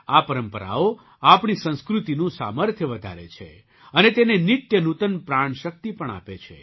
આ પરંપરાઓ આપણી સંસ્કૃતિનું સામર્થ્ય વધારે છે અને તેને નિત્ય નૂતન પ્રાણશક્તિ પણ આપે છે